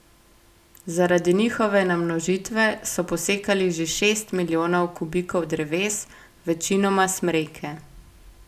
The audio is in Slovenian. Zaradi njihove namnožitve so posekali že šest milijonov kubikov dreves, večinoma smreke.